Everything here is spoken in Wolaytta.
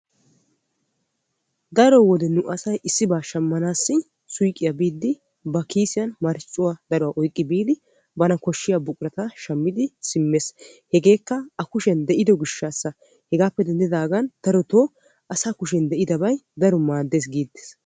Daro wode asay issibba shamannawu suyqqiya biiddi ba kiissiyan marccuwa oyqqi biiddi buqura shamees. Hegaa gishawu asaa kushiyan de'iddabay keehippe maadees.